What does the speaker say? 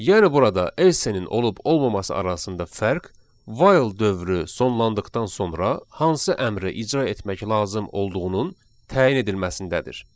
Yəni burada else-nin olub olmaması arasında fərq while dövrü sonlandıqdan sonra hansı əmri icra etmək lazım olduğunun təyin edilməsindədir.